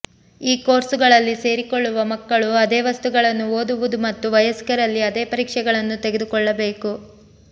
ಈ ಕೋರ್ಸುಗಳಲ್ಲಿ ಸೇರಿಕೊಳ್ಳುವ ಮಕ್ಕಳು ಅದೇ ವಸ್ತುಗಳನ್ನು ಓದುವುದು ಮತ್ತು ವಯಸ್ಕರಲ್ಲಿ ಅದೇ ಪರೀಕ್ಷೆಗಳನ್ನು ತೆಗೆದುಕೊಳ್ಳಬೇಕು